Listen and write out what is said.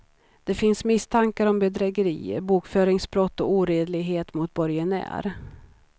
Det finns misstankar om bedrägerier, bokföringsbrott och oredlighet mot borgenär.